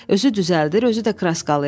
Özü düzəldir, özü də kraskalayır.